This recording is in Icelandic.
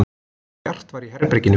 Bjart var í herberginu.